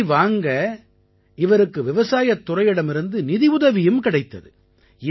இதை வாங்க இவருக்கு விவசாயத் துறையிடமிருந்து நிதியுதவியும் கிடைத்தது